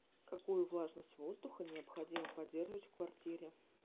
какую влажность воздуха необходимо поддерживать в квартире